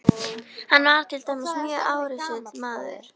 Hann var til dæmis mjög árrisull maður.